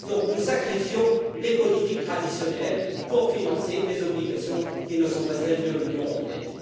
Nous sacrifions donc les politiques traditionnelles pour financer des obligations qui ne sont pas celles de l'Union européenne.